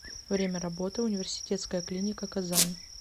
время работы университетская клиника казань